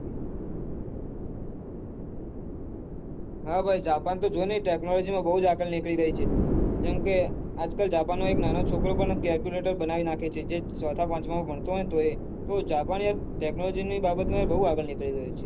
હા ભાઈ જાપાન જો ને technology ખુબ આગળ નીકળી ગયી છે જેમકે આજકાલ જાપાનનો નાનો છોકરો પન calculator બનાવી નાખે છે ચોથ પંચવામાં ભણતો હોય તોયે જાપાન technology બાબત માં ખુબ આગળ નીકળી ગયું